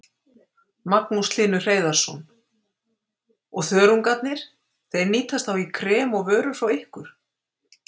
Magnús Hlynur Hreiðarsson: Og þörungarnir, þeir nýtast þá í krem og vörur frá ykkur?